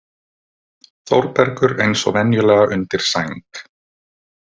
Þórbergur eins og venjulega undir sæng.